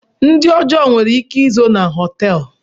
Ndị ọjọọ nwere ike izo na họteelu.